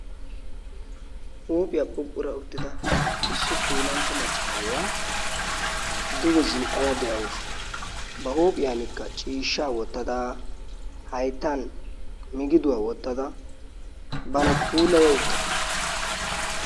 Huuphiyaa phuphpura uttida issi macca an'iyaa duge zin''ada de'awus. ba huuphiyankka ciishsha wottada, hayttan migidduwaa wottada bana puulaya wottaasu.